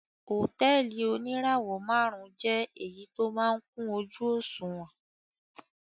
Hòtẹ́ẹ́lì oníràwọ̀-márùn-ún jẹ́ èyí tó máa ń kún ojú-òṣùwọ̀n.